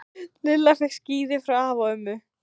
Lilla fékk skíði frá afa og ömmu.